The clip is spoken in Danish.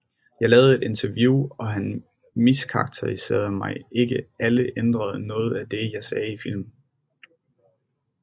Jeg lavede et interview og han miskarakteriserede mig ikke eller ændrede noget af det jeg sagde i filmen